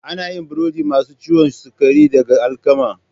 Ana yin burodin masu ciwon sukari daga alkama.